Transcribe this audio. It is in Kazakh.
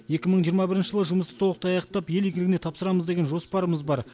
екі мың жиырма бірінші жылы жұмысты толық аяқтап ел игілігіне тапсырамыз деген жоспарымыз бар